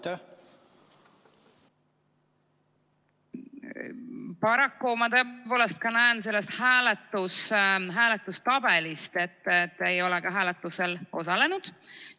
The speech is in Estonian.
Paraku ma näen tõepoolest ka hääletustabelist, et te ei olegi hääletusel osalenud.